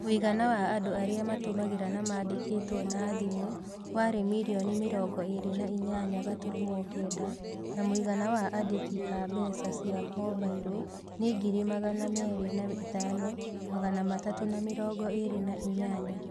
Mũigana wa andũ arĩa matũmĩraga na mandĩkĩtwo na thimũ warĩ mirioni mĩrongo ĩĩrĩ na inyanya gaturumo kenda na mũigana wa andĩki a mbeca cia mobailo nĩ ngiri magana meerĩ na ithano, magana matatũ na mĩrongo ĩĩrĩ na inyanya.